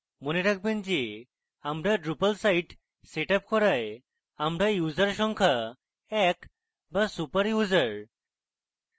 মনে রাখবেন যে আমরা drupal site setup করায় আমরা user সংখ্যা এক বা super user